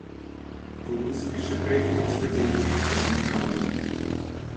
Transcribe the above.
Po ruski še prekmurska zaušnica Domžalam!